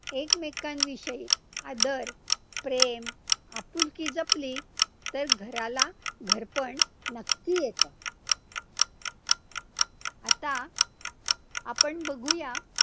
एकमेकांविषयी आदर प्रेम, आपुलकी जपली, तर घराला घरपण नक्की येतं, आता आपण बघूया.